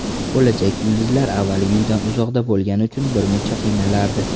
Bo‘lajak yulduzlar avvaliga uydan uzoqda bo‘lgani uchun birmuncha qiynalardi.